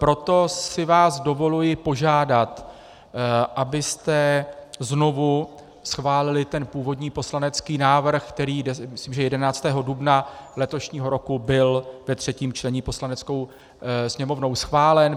Proto si vás dovoluji požádat, abyste znovu schválili ten původní poslanecký návrh, který, myslím že 11. dubna letošního roku, byl ve třetím čtení Poslaneckou sněmovnou schválen.